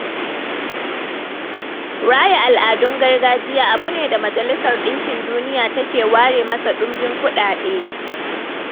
Raya al'adun gargajiya abu ne da majalisar ɗinkin duniya take ware masa ɗumbin kuɗaɗe.